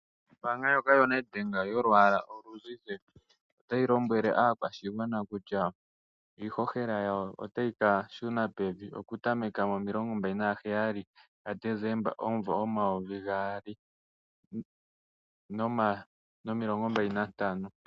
Ombaanga ndyoka yoNedbank yolwaala oluzizi otayi lombwele aantu kutya iishoshola otayi ka shuna pevi okutameka 27 Desemba 2025.